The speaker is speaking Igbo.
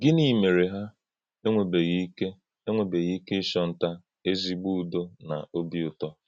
Gịnị̄ mè̄rè hà ènwèbè̄ghị̀ íké ènwèbè̄ghị̀ íké ị́chọ̄ntà̀ ézí̄ ūdò̄ nà ọ̀bí̄ ūtò̄?